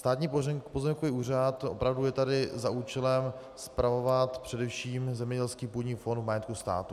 Státní pozemkový úřad opravdu je tady za účelem spravovat především zemědělský půdní fond v majetku státu.